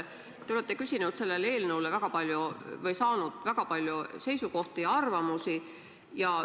Te olete küsinud ja saanud selle eelnõu kohta väga palju seisukohti ja arvamusi.